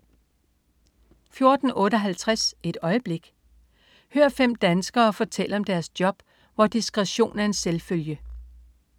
14.58 Et øjeblik. Hør fem danskere fortælle om deres job, hvor "disktretion er en selvfølge"